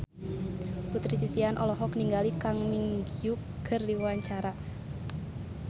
Putri Titian olohok ningali Kang Min Hyuk keur diwawancara